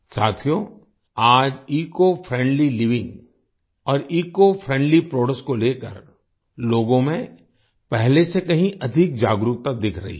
साथियो आज eco friendly living और इकोफ्रेंडली प्रोडक्ट्स को लेकर लोगों में पहले से कहीं अधिक जागरूकता दिख रही है